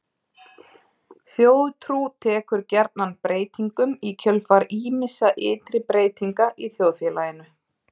Þjóðtrú tekur gjarnan breytingum í kjölfar ýmissa ytri breytinga í þjóðfélaginu.